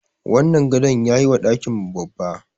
Wannan gado yayi wa ɗakin mu babba.